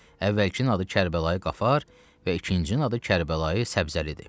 Əvvəlkinin adı Kərbəlayı Qafar və ikincinin adı Kərbəlayı Səbzəlidir.